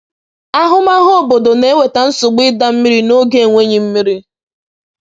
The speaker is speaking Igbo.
“Ahụmahụ obodo na-eweta nsogbu ịda mmiri n’oge enweghị mmiri.”